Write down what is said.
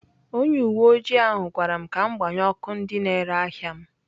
Onye uwe ojii ahụ gwara m ka m gbanye ọkụ ndị na-ere ahịa m.